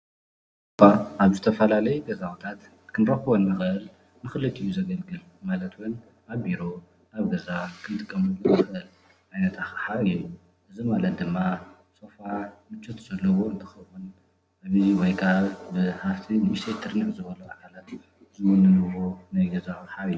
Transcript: ሶፋ ኣብ ዝተፈላለዩ ገዛውትታት ክንረኽቦ ንኽእል ንኽልቲኡ ዘገልግል ዝኽእል ማለት እውን ኣብ ቢሮ፣ ኣብ ገዛ ክንጥቀመሉ እንኽእል ዓይነት ኣቕሓ እዩ፡፡ እዚ ማለት ድማ ሶፋ ምቾት ዘለዎ እንትኸውን ብንዋይ ወይ ብሃፍቲ ንኡሽተይ ትርንዕ ዝበሉ ኣካላት ዝምነይዎ ናይ ገዛ ኣቕሓ እዩ፡፡